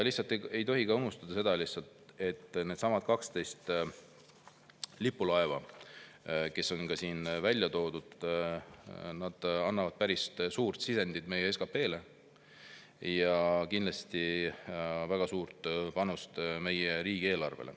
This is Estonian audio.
Ei tohi unustada ka seda, et needsamad 12 lipulaeva, kes on ka siin välja toodud, annavad päris suure sisendi meie SKP-sse ja kindlasti väga suure panuse meie riigieelarvesse.